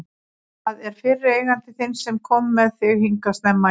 Það er fyrri eigandi þinn sem kom með þig hingað snemma í vor.